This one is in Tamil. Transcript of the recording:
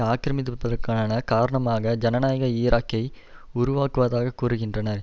ஆக்கரமிப்பிற்கான காரணமாக ஜனநாயக ஈராக்கை உருவாக்குவதாக கூறுகின்றனர்